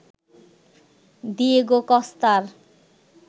Diego কস্তার